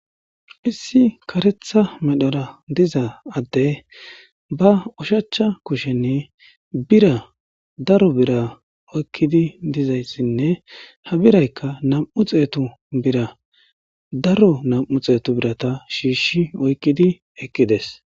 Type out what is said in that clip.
Issi kareththa medhora diza addee ba ushachcha kushenii bira daro bira oykkidi dizayssinne ha biraykka nam7u xeethu bira daro nam7u xeethu biratha shiishshi oykkidi eqqi des.